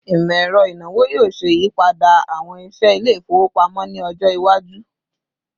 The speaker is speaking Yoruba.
Imọ-ẹrọ inawo yoo ṣe iyipada awọn iṣẹ ile-ifowopamọ ni ọjọ iwaju